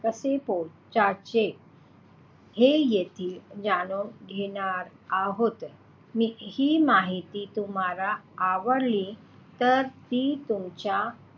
कसे पोहोचायचे हे देखील जाणून घेणार आहोत. हि माहिती तुम्हाला आवडली तर ती तुमच्या,